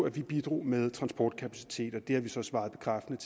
at vi bidrager med transportkapacitet det har vi så svaret bekræftende